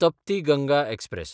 Trupti Ganga express